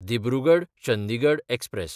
दिब्रुगड–चंदिगड express